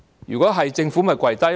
如果會，政府便會跪低。